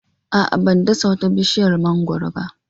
A'a, ban dasa wata bishiyar mangwaro ba.